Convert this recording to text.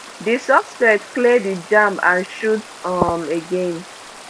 di suspect clear di jam and shoot um again